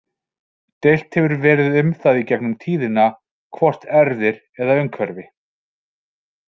Deilt hefur verið um það í gegnum tíðina hvort erfðir eða umhverfi.